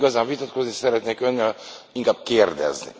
Nem igazán vitatkozni szeretnék Önnel, inkább kérdezni.